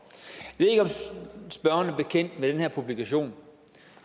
spørgeren er bekendt med den her publikation